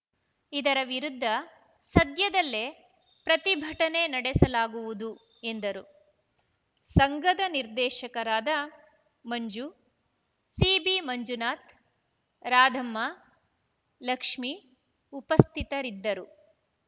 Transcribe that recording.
ಇದರ ವಿರುದ್ಧ ಸದ್ಯದಲ್ಲೇ ಪ್ರತಿಭಟನೆ ನಡೆಸಲಾಗುವುದು ಎಂದರು ಸಂಘದ ನಿರ್ದೇಶಕರಾದ ಮಂಜು ಸಿಬಿಮಂಜುನಾಥ್‌ ರಾಧಮ್ಮ ಲಕ್ಷ್ಮೀ ಉಪಸ್ಥಿತರಿದ್ದರು